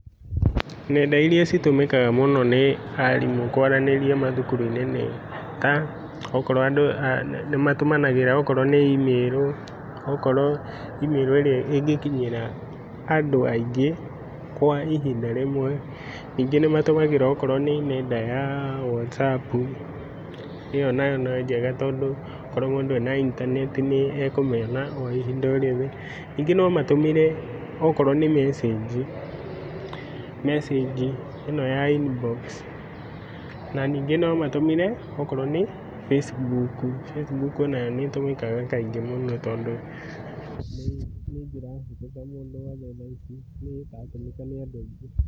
Ng'enda iria citũmĩkaga mũno nĩ arimũ kwaranĩria mathukuru-inĩ nĩta, Okorũo andũ nimatumanagĩra okorũo nĩ imĩrũ, okorũo imĩrũ ĩrĩa ĩngĩkinyĩra andũ aingĩ kwa ĩhinda rĩmwe. Ningĩ nimatũmagĩra okorũo nĩ nenda ya whatsapp, iyo nayo no njega tondũ okorũo mũndũ ena intaneti nĩ ekũmĩona oihinda orĩothe. Ningĩ nomatũmĩre okorũo nĩ mecĩnji, mecĩnji ĩno ya inbox na ningĩ no matũmĩre okorũo nĩ facebook. Facebook onayo nĩ ĩtũmĩkaga kaingĩ mũno tondũ nĩ njĩra hũthũ ta mũndũ wothe thaici nĩratũmĩka nĩ andũ aingĩ.